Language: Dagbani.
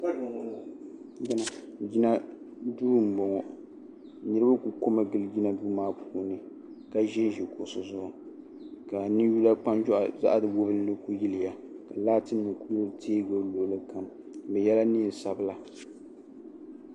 Jinaduu m-bɔŋɔ niriba ku komi ɡili jinaduu maa puuni ka ʒi n-ʒi kuɣusi zuɣu ka ninyulakpanjɔɣu zaɣ' wubinli ku yiliya ka laatinima ku deei ɡili luɣili kam bɛ yɛla neen' sabila